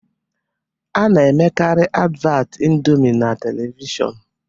A na-emekarị advat ịndomi na televishọnu